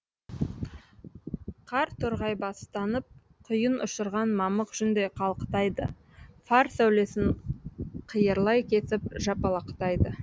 қар торғайбастанып құйын ұшырған мамық жүндей қалықтайды фар сәулесін қиырлай кесіп жапалақтайды